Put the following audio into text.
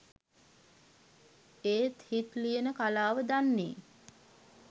ඒ හිත් ලියන කලාව දන්නේ